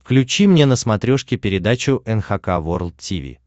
включи мне на смотрешке передачу эн эйч кей волд ти ви